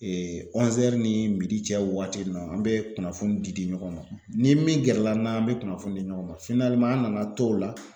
EE Ɔzɛri ni midi cɛ wagati nin na an be kunnafoni di di ɲɔgɔn ma ni min gɛrɛla n'a an be kunnafoni di ɲɔgɔn ma finaleman an nana to o la